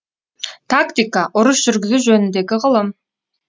тактика ұрыс жүргізу жөніндегі ғылым